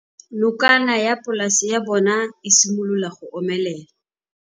Nokana ya polase ya bona, e simolola go omelela.